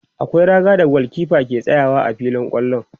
akwai raga da gulkefa ke tsayawa a filin kwallo